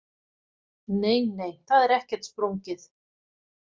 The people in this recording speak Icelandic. Nei, nei, það er ekkert sprungið.